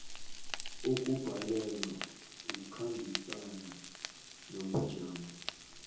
ukubhalelwa kukhambisana nobujamo